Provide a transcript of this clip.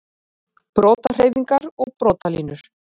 Brotahreyfingar og brotalínur